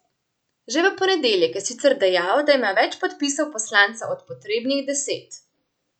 Že v ponedeljek je sicer dejal, da ima več podpisov poslancev od potrebnih deset.